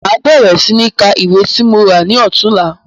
Má bẹ̀rẹ̀ sí ní ká ìwé tí mo rà ní ọ̀túnla.